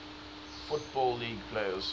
football league players